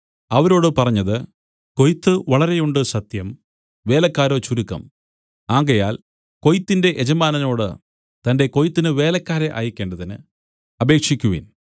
അവരോട് പറഞ്ഞത് കൊയ്ത്ത് വളരെ ഉണ്ട് സത്യം വേലക്കാരോ ചുരുക്കം ആകയാൽ കൊയ്ത്തിന്റെ യജമാനനോടു തന്റെ കൊയ്ത്തിന് വേലക്കാരെ അയക്കേണ്ടതിന് അപേക്ഷിക്കുവിൻ